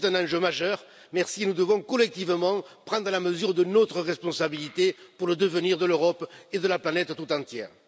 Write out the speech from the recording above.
Oui, c'est un enjeu majeur nous devons collectivement prendre la mesure de notre responsabilité pour le devenir de l'Europe et de la planète toute entière.